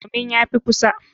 Domin ya fi kusa.